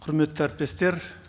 құрметті әріптестер